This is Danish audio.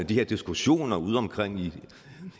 de her diskussioner ude omkring i